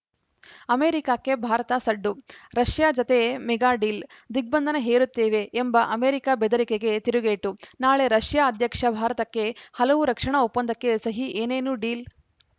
ಅಮೆರಿಕಕ್ಕೆ ಭಾರತ ಸಡ್ಡು ರಷ್ಯಾ ಜತೆ ಮೆಗಾ ಡೀಲ್‌ ದಿಗ್ಬಂಧನ ಹೇರುತ್ತೇವೆ ಎಂಬ ಅಮೆರಿಕ ಬೆದರಿಕೆಗೆ ತಿರುಗೇಟು ನಾಳೆ ರಷ್ಯಾ ಅಧ್ಯಕ್ಷ ಭಾರತಕ್ಕೆ ಹಲವು ರಕ್ಷಣಾ ಒಪ್ಪಂದಕ್ಕೆ ಸಹಿ ಏನೇನು ಡೀಲ್‌